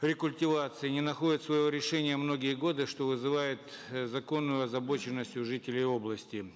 рекультивации не находит своего решения многие годы что вызывает э законную озабоченность у жителей области